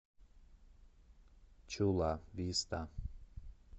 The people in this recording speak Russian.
чула виста